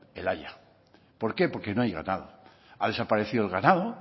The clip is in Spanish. el haya por qué porque no hay ganado ha desaparecido el ganado